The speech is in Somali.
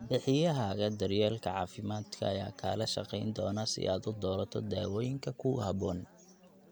Bixiyahaaga daryeelka caafimaadka ayaa kaala shaqayn doona si aad u doorato daawooyinka kugu habboon.